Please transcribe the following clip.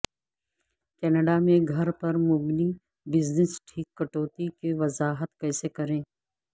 Canada میں گھر پر مبنی بزنس ٹیک کٹوتی کی وضاحت کیسے کریں